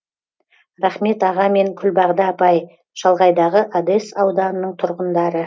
рахмет аға мен күлбағда апай шалғайдағы одес ауданының тұрғындары